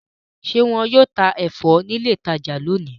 Ṣe wọn yóò tá ẹfọ ni ilé ìtajà lóni?